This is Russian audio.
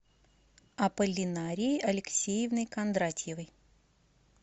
аполлинарией алексеевной кондратьевой